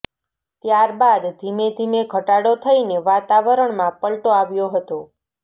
ત્યાર બાદ ધીમે ધીમે ઘટાડો થઇને વાતાવરણમાં પલ્ટો આવ્યો હતો